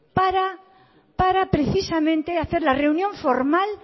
para precisamente hacer la reunión formal